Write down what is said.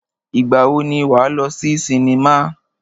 Ìgbà wo ni wà á lọ sí sinimá?